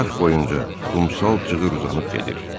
Arx boyunca qumsal cığır uzanıb gedir.